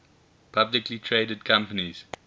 publicly traded companies